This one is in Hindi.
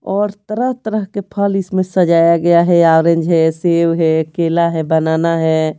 और तरह-तरह के फल इसमें सजाया गया है ऑरेंज है सेब है केला है बनाना है।